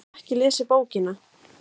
Ég hef ekki lesið bókina.